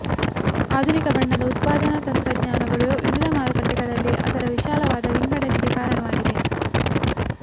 ಆಧುನಿಕ ಬಣ್ಣದ ಉತ್ಪಾದನಾ ತಂತ್ರಜ್ಞಾನಗಳು ವಿವಿಧ ಮಾರುಕಟ್ಟೆಗಳಲ್ಲಿ ಅದರ ವಿಶಾಲವಾದ ವಿಂಗಡಣೆಗೆ ಕಾರಣವಾಗಿವೆ